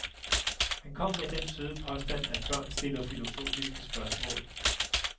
Han kom med den søde påstand, at børn stiller filosofiske spørgsmål.